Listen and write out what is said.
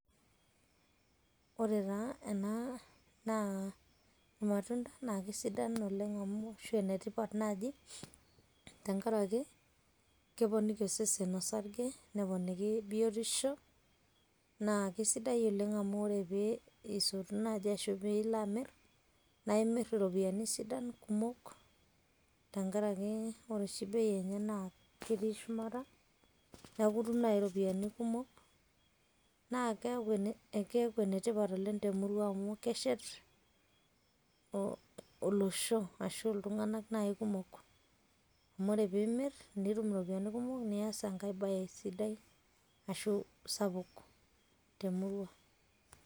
ore taa ena naa ilmatunda naa kisidan olenge ashu enetipat naaji tenkaraki, keponiki osesen osarge, neponiki biotisho, naa kisidai oleng amu ore pee isotu naaji ashu pee ilo amir naa imir iropiyiani sidan, kumok tenkaraki ore oshi bei enye naa ketii shumata. neeku itum naa iropiyiani kumok. naa keeku ene tipat oleng temurua amu keshet olosho. ashu iltunganak naaji kumok, amu ore pee imir nitum iropiyiani kumok, nias enkae bae sidai ashu sapuk temurua.